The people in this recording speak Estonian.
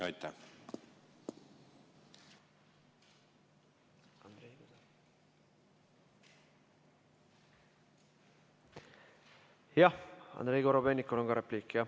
Jah, Andrei Korobeinikul on ka repliik.